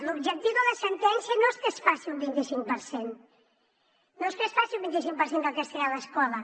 l’objectiu de la sentència no és que es faci un vint i cinc per cent no és que es faci un vint i cinc per cent de castellà a l’escola